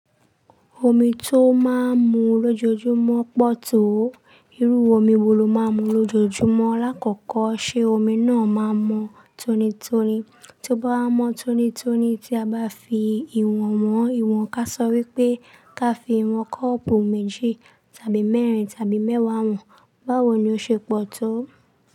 Omi tó máa ń mu lójoojúmọ́ pọ̀ tó. Irú omi wo lo máa ń mu lójoojúmọ́? Láàkọ́kọ́ ṣe omi náà máa mọ tonitoni? Tí ó bá mọ tonitoni tí a bá fi ìwọ̀n wọn, ìwọ̀n ká sọ wípé ká fi ìwọ̀n kọ́ọ̀pù méjì tàbí mẹ́rin tàbí mẹ́wàá wọn, báwo ni ó ṣe pọ̀ tó?